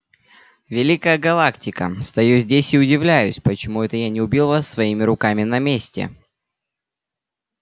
великая галактика стою здесь и удивляюсь почему это я не убил вас своими руками на месте